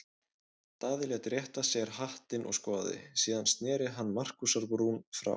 Daði lét rétta sér hattinn og skoðaði, síðan sneri hann Markúsar-Brún frá.